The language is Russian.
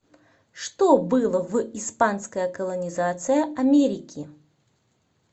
что было в испанская колонизация америки